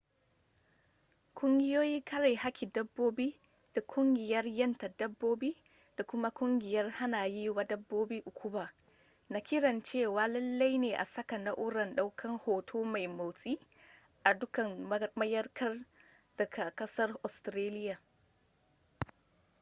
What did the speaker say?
kungiyoin kare hakkin dabbobi da kungiyar yanta dabbobi da kuma kungiyar hana yi wa dabbobi ukuba na kiran cewa lallai ne a saka na'urar daukan hoto mai motsi a dukkan mayankar da ke kasar australiya